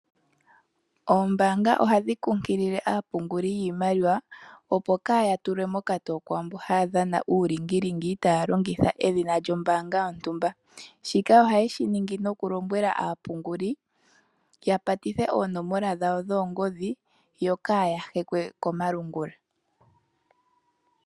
Oombanga ohadhi kunkilile aapunguli yiimaliwa opo kaaya tulwe mokatowo kuulingilingi taya longitha edhina lyombanga yontumba shika ohaye shiningi nokulombwela aapunguli yapatithe oonomola dhawo dhoongodhi yo kaaya hekwe komalungula.